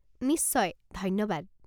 নিশ্চয়, ধন্যবাদ।